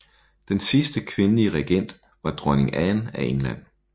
Den sidste kvindelige regent var dronning Anne af England